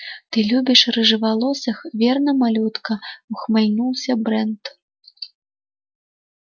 ты любишь рыжеволосых верно малютка ухмыльнулся брент